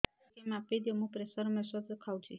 ଟିକେ ମାପିଦିଅ ମୁଁ ପ୍ରେସର ଔଷଧ ଖାଉଚି